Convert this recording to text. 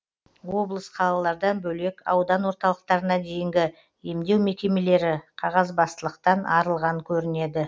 облыс қалалардан бөлек аудан орталықтарына дейінгі емдеу мекемелері қағазбастылықтан арылған көрінеді